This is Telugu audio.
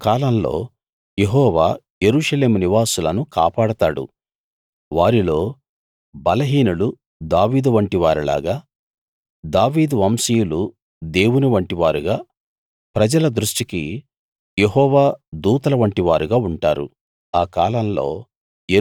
ఆ కాలంలో యెహోవా యెరూషలేము నివాసులను కాపాడతాడు వారిలో బలహీనులు దావీదువంటి వారిలాగా దావీదు వంశీయులు దేవుని వంటివారుగా ప్రజల దృష్టికి యెహోవా దూతల వంటి వారుగా ఉంటారు